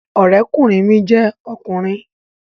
Ọ̀rẹ́kùnrin mi jẹ́ ọkùnrin